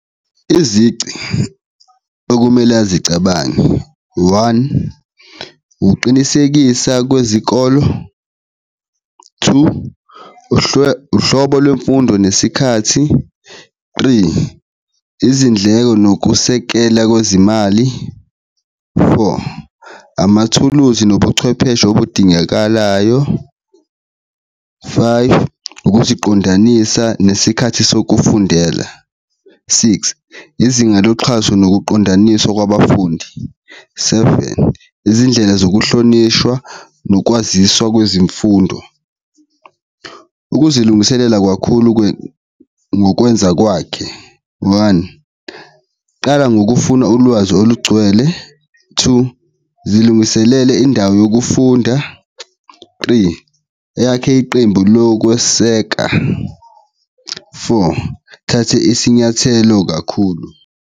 Izici okumele azicabange, one, uqinisekisa kwezikolo, two, uhlobo lwemfundo nesikhathi, three, izindleko nokusekela kwezimali, four, amathuluzi nobuchwepheshe obudingakalayo, five, ukuziqondanisa nesikhathi sokufundela, six, izinga loxhaso nokuqondaniswa kwabafundi, seven, izindlela zokuhlonishwa nokwaziswa kwezimfundo. Ukuzilungiselela kwakhulu ngokwenza kwakhe, one, qala ngokufuna ulwazi olugcwele, two, zilungiselele indawo yokufunda, three, eyakhe iqembu lokweseka, four, thathe isinyathelo kakhulu.